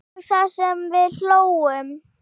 Og það sem við hlógum.